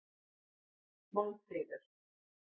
Málmfríður